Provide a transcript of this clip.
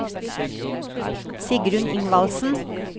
Sigrunn Ingvaldsen